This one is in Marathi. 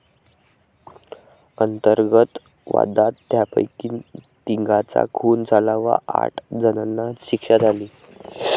अंतर्गत वादात त्यापैकी तिघांचा खून झाला व आठ जणांना शिक्षा झाली.